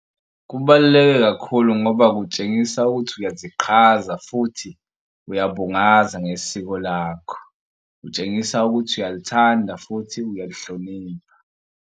Kubaluleke kakhulu ngoba kutshengisa ukuthi uyasiqhaza futhi uyabungaza ngesiko lakho. Kutshengisa ukuthi uyalithanda futhi uyalihlonipha.